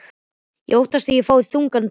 Ég óttast að ég fái þungan dóm.